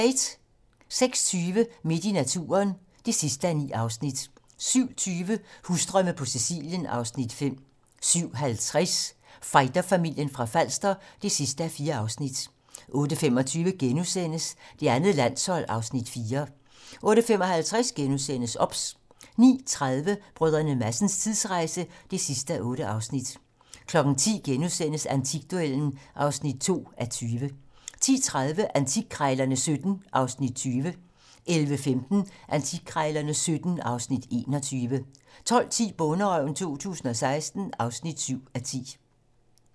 06:20: Midt i naturen (9:9) 07:20: Husdrømme på Sicilien (Afs. 5) 07:50: Fighterfamilien fra Falster (4:4) 08:25: Det andet landshold (Afs. 4)* 08:55: OBS * 09:30: Brdr. Madsens tidsrejse (8:8) 10:00: Antikduellen (2:20)* 10:30: Antikkrejlerne XVII (Afs. 20) 11:15: Antikkrejlerne XVII (Afs. 21) 12:10: Bonderøven 2016 (7:10)